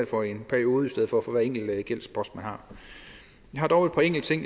for en periode i stedet for for hver enkelt gældspost man har jeg har dog et par enkelte ting